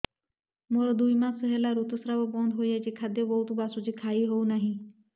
ମୋର ଦୁଇ ମାସ ହେଲା ଋତୁ ସ୍ରାବ ବନ୍ଦ ହେଇଯାଇଛି ଖାଦ୍ୟ ବହୁତ ବାସୁଛି ଖାଇ ହଉ ନାହିଁ